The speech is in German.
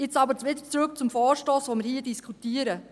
Nun aber wieder zurück zum Vorstoss, den wir hier diskutieren.